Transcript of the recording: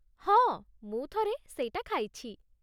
ହଁ, ମୁଁ ଥରେ ସେଇଟା ଖାଇଛି ।